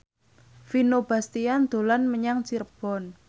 Vino Bastian dolan menyang Cirebon